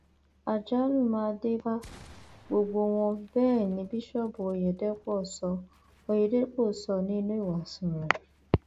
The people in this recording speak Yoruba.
àjálù máa dé bá gbogbo wọn bẹẹ ni bíṣọọbù ọyẹdẹpọ sọ ọyẹdẹpọ sọ nínú ìwàásù rẹ